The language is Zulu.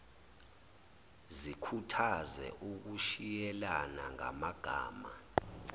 zikhuthaze ukushiyelana ngamagama